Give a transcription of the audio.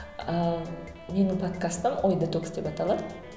ааа менің подкастым ой детокс деп аталады